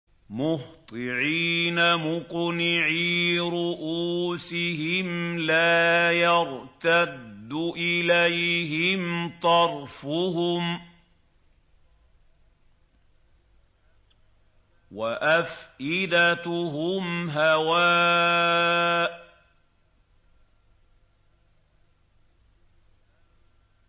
مُهْطِعِينَ مُقْنِعِي رُءُوسِهِمْ لَا يَرْتَدُّ إِلَيْهِمْ طَرْفُهُمْ ۖ وَأَفْئِدَتُهُمْ هَوَاءٌ